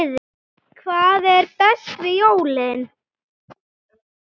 Hvað er best við jólin?